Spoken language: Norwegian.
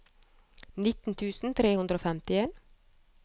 nitten tusen tre hundre og femtien